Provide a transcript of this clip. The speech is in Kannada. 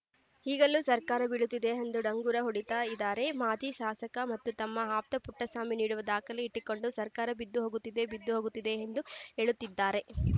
ಈಗಲೂ ಸರ್ಕಾರ ಬೀಳುತ್ತೆ ಎಂದು ಡಂಗುರ ಹೊಡಿತಾ ಇದಾರೆ ಮಾಜಿ ಶಾಸಕ ಮತ್ತು ತಮ್ಮ ಆಪ್ತ ಪುಟ್ಟಸ್ವಾಮಿ ನೀಡುವ ದಾಖಲೆ ಇಟ್ಟುಕೊಂಡು ಸರ್ಕಾರ ಬಿದ್ದು ಹೋಗುತ್ತೆ ಬಿದ್ದು ಹೋಗುತ್ತೆ ಎಂದು ಹೇಳುತ್ತಿದ್ದಾರೆ